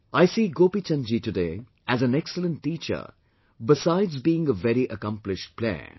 I see Gopi Chand ji today as an excellent teacher besides being a very accomplished player